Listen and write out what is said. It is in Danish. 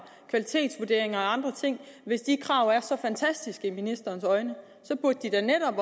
kvalitetsvurdering og andre ting hvis de krav er så fantastiske i ministerens øjne så burde da netop